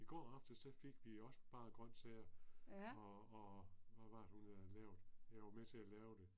I går aftes så fik vi også bare grøntsager og og hvad var det nu jeg havde lavet jeg var med til at lave det